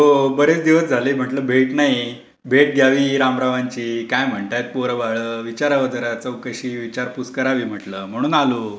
हो, बरेच दिवस झाले. म्हंटलं भेट नाही. भेट घ्यावी रामरावांची. काय म्हणतायत पोरं बाळं विचारावं जरा. चौकशी विचारपूस करावी म्हंटलं, म्हणून आलो.